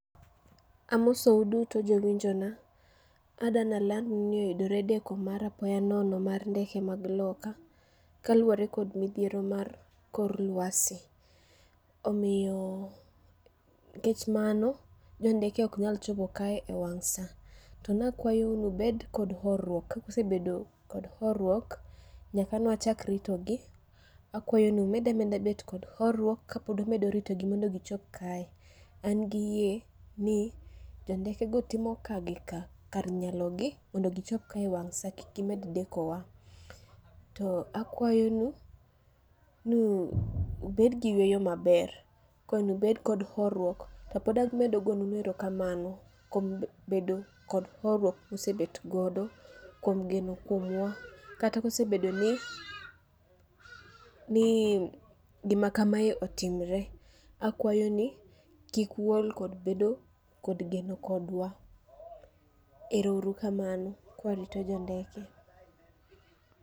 Amosou duto jowinjo na, adanaland nu ni oyudore deko mar apaya nono mar ndeke mag loka, kaluwore kod midhiero mar kor lwasi. Omiyo kech mano jo ndeke ok nyal chopo kae e wang' sa. To nakwayou mondo ubed kod horuok, kusebedo kod horuok, nyaka nwachak rito gi, akwayo ni umedameda bedo kod horuok kapod umedo ritogi mondo gichop kae. An gi yie ni jo ndekego timo ka gi ka kar nyalo gi mondo gichop ka e wang' sa kik gimed deko wa. To akwayo nu, nu ubed gi yweyo maber. Akwayo ni ubed kod horuok, to pod amedo goyo nu erokamano kuom geno kuomwa, kata kosebedo ni, ni gima kamae otimore. Akwayo ni kik uol kod bedo kod geno kodwa, ero uru kamano kwarito jo ndeke.